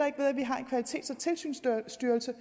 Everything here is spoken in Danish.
kvalitets og tilsynsstyrelse